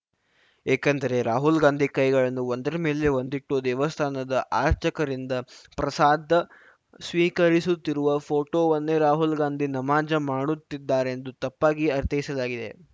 ಏಕೆಂದರೆ ರಾಹುಲ್‌ ಗಾಂಧಿ ಕೈಗಳನ್ನು ಒಂದರಮೇಲೆ ಒಂದಿಟ್ಟು ದೇವಸ್ಥಾನದ ಅರ್ಚಕರಿಂದ ಪ್ರಸಾದ ಸ್ವೀಕರಿಸುತ್ತಿರುವ ಫೋಟೋವನ್ನೇ ರಾಹುಲ್‌ ಗಾಂಧಿ ನಮಾಜ್‌ ಮಾಡುತ್ತಿದ್ದಾರೆಂದು ತಪ್ಪಾಗಿ ಅರ್ಥೈಸಲಾಗಿದೆ